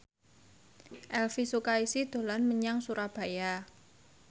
Elvy Sukaesih dolan menyang Surabaya